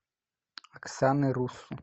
оксаны руссу